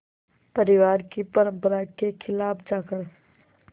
परिवार की परंपरा के ख़िलाफ़ जाकर